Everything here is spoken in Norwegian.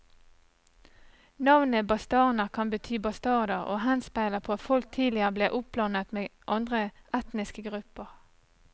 Navnet bastarner kan bety bastarder og henspeiler på at folket tidlig ble oppblandet med andre etniske grupper.